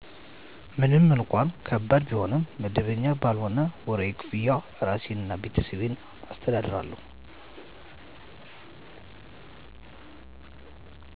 ምንም እንኳን ከባድ ቢሆንም *መደበኛ ባልሆነ ወርሀዊ ክፍያ እራሴን እና ቤተሰቤን አስተዳድራለሁ።